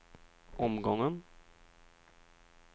omgången